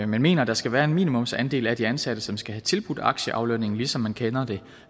men mener at der skal være en minimumsandel af de ansatte som skal have tilbudt aktieaflønning ligesom man kender det